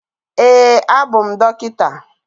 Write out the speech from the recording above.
Ee, abụ m dọkịta